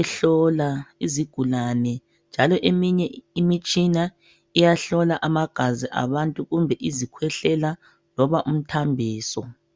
ehlola izigulane njalo eminye imitshina iyahlola amagazi abantu kumbe izikhwehlela loba umthambiso.